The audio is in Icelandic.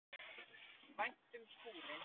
Vænt um skúrinn.